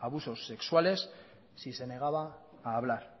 abusos sexuales si se negaba a hablar